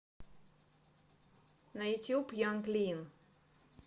на ютуб янг лин